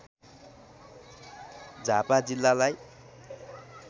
झापा जिल्लालाई